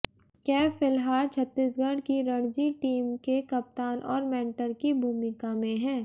कैफ फिलहाल छत्तीसगढ़ की रणजी टीम के कप्तान और मेंटर की भूमिका में हैं